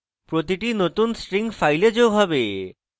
প্রতিটি নতুন string file যোগ হবে